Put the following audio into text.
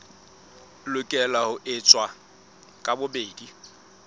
lokela ho eketswa ka bobedi